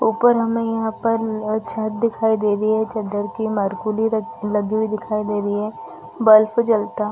ऊपर हमे यहाँ पर अ छत्त दिखाई दे रही है चद्दर की मारकुली लगी हुई दिखाई दे रही है बल्ब जलता --